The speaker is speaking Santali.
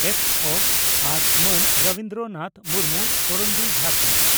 ᱯᱹᱵᱹ) ᱟᱨ ᱢᱟᱱ ᱨᱚᱵᱤᱱᱫᱨᱚ ᱱᱟᱛᱷ ᱢᱩᱨᱢᱩ (ᱠᱚᱨᱚᱱᱰᱤ ᱡᱷᱟᱨᱠᱷᱟᱱᱰ )